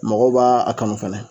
Mɔgɔw b'a a kanu fɛnɛ